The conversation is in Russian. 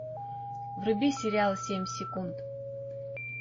вруби сериал семь секунд